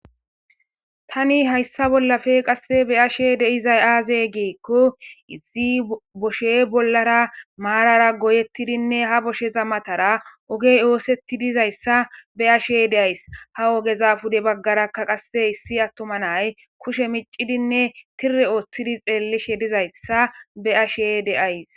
tani hayssa bollafe qasse beyashe deizay aaze geekko isi boshe bollara maarara goyettidinne ha bosheza matara ogey oosetti dizayssa be ashe deays ha ogeza pude baggarakka qasse issi attoma nay kushe micidinne tire ooththidi xeellishe dizayssa be ashe deays